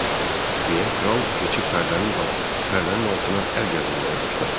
Belə kral keçib pərdənin dal pərdənin altına əl gəzdirməyə başladı.